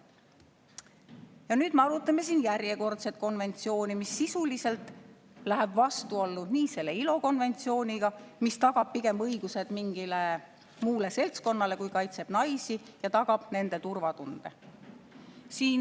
Ja nüüd me arutame siin järjekordset konventsiooni, mis sisuliselt läheb vastuollu nii selle ILO konventsiooniga, mis tagab pigem õigused mingile muule seltskonnale, kui kaitseb naisi ja tagab nende turvatunde.